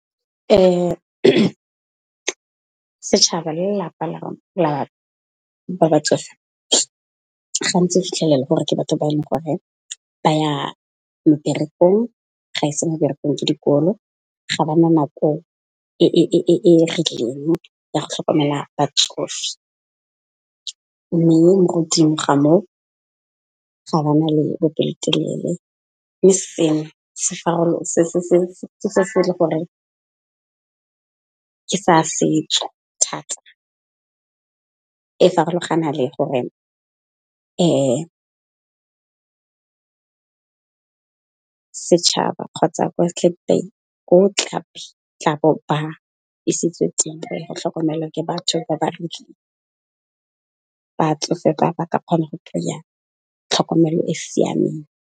Setšhaba le lelapa la batsofe, gantsi o fitlhelela gore ke batho ba e leng gore ba ya meberekong ga e se meberekong, ke dikolo ga ba na nako e ya go tlhokomela batsofe, mme mo godimo ga moo ga bana le bopelotelele, mme seo ke se se le gore ke sa setso thata. E farologana le gore setšhaba kgotsa ko tla bo ba isitswe teng go ya go tlhokomelwa ke batho ba ba batsofe ba ba ka kgona go kry-iya tlhokomelo e e siameng.